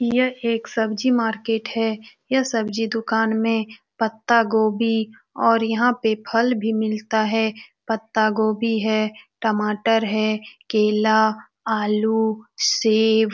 यह एक सब्जी मार्केट है यह सब्जी दुकान में पत्ता गोभी और यहाँ पर फल भी मिलता है पत्ता गोभी है टमाटर है केला आलू सेब --